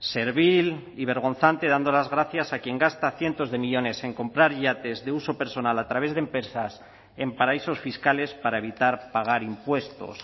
servil y vergonzante dando las gracias a quien gasta cientos de millónes en comprar yates de uso personal a través de empresas en paraísos fiscales para evitar pagar impuestos